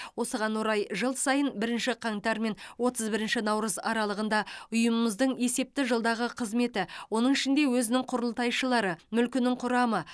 осыған орай жыл сайын бірінші қаңтар мен отыз бірінші наурыз аралығында ұйымымыздың есепті жылдағы қызметі оның ішінде өзінің құрылтайшылары мүлкінің құрамы